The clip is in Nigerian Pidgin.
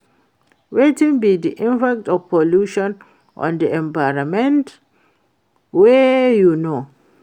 Wetin be di impact of pollution on di environment wey you know?